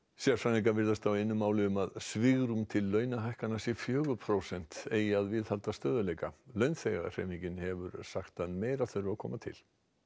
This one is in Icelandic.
sérfræðingar virðast á einu máli um að svigrúm til launahækkana sé fjögur prósent eigi að viðhalda stöðugleika launþegahreyfingin hefur sagt að meira þurfi að koma til